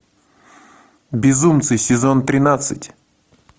безумцы сезон тринадцать